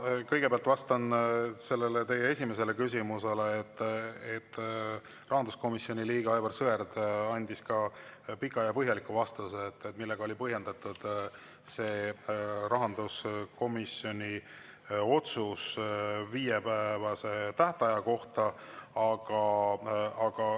Ma kõigepealt vastan teie esimesele küsimusele, et rahanduskomisjoni liige Aivar Sõerd andis pika ja põhjaliku vastuse, millega oli põhjendatud rahanduskomisjoni otsus viiepäevase tähtaja kohta.